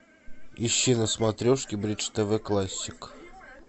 ищи на смотрешке бридж тв классик